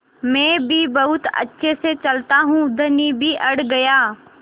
मैं भी बहुत अच्छे से चलता हूँ धनी भी अड़ गया